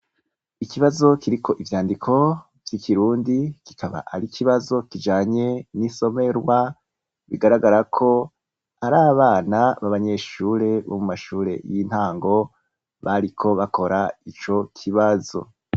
Ikibazo kirik'ivyandiko vyi kirundi kikab' arikibazo kijanye nk' insomerwa, bigaragarako ar'abana babanyeshure bo mumashure y intango, bariko bakor' ico kibazo.